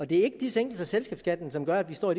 det er ikke de sænkelser af selskabsskatten som gør at vi står